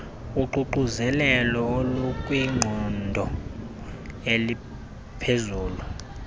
uququzelelo olukwiqondo eliphezulu